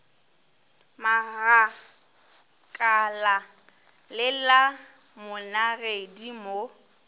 magakala le la monagedi mo